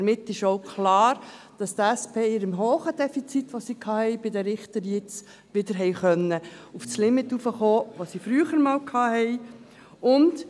Damit ist auch klar, dass die SP bei ihrem grossen Defizit, das sie jetzt bei den Richtern gehabt hat, wieder auf das Limit heraufkommen kann, das sie früher einmal hatte.